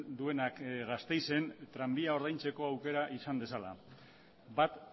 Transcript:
duenak gasteizen tranbia ordaintzeko aukera izan dezala bat